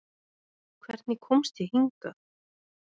Hvernig komst ég hingað?